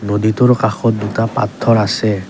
নদীটোৰ কাষত দুটা পাত্থৰ আছে।